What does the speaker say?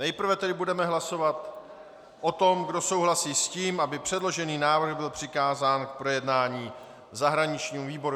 Nejprve tedy budeme hlasovat o tom, kdo souhlasí s tím, aby předložený návrh byl přikázán k projednání zahraničnímu výboru.